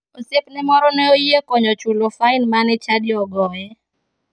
Osiepne moro ne oyie konye chulo fain mane chadi ogoye.